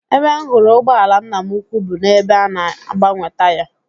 Ebe m hụrụ ụgbọala nna m ukwu bụ n'ebe a na-agbanwe taya